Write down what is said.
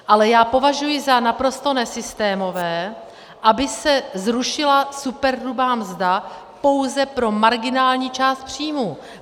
Ale já považuji za naprosto nesystémové, aby se zrušila superhrubá mzdy pouze pro marginální část příjmu.